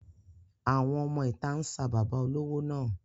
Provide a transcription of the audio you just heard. Àwọn ọmọ ìta ń sa bàbá olówó náà.